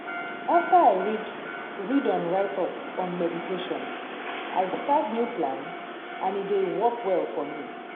after i read read on write up on meditation i start new plan and e dey work well for me.